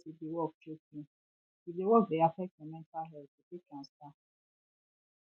ask for support if di work choke you if di work dey affect your mental health you fit transfer